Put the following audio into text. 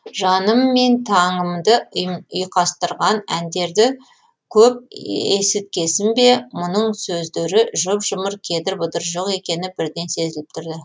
жаным мен таңымды ұйқастырған әндерді көп ееесіткесін бе мұның сөздері жұп жұмыр кедір бұдыры жоқ екені бірден сезіліп тұрды